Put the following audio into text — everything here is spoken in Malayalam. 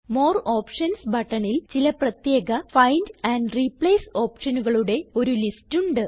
മോർ ഓപ്ഷൻസ് ബട്ടണിൽ ചില പ്രത്യേക ഫൈൻഡ് ആൻഡ് റിപ്ലേസ് ഓപ്ഷനുകളുടെ ഒരു ലിസ്റ്റ് ഉണ്ട്